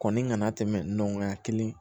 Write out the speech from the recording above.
Kɔni kana tɛmɛ